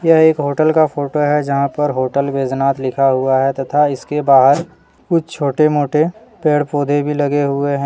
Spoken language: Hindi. यह एक होटल का फोटो है जहां पर होटल बैजनाथ लिखा हुआ है तथा इसके बाहर कुछ छोटे मोटे पेड़ पौधे भी लगे हुए हैं।